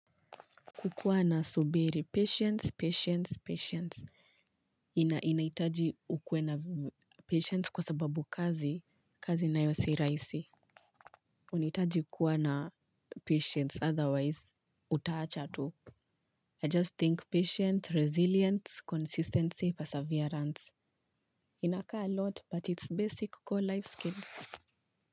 Kukuwa na subira, patience, patience, patience. Inahitaji ukuwe na patience kwa sababu kazi, kazi nayo si rahisi. Unahitaji kukuwa na patience otherwise utawacha tu I just think patience, resilience, consistency, perseverance. Inakaa a lot but it's basic core life skills.